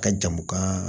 Ka jamu ka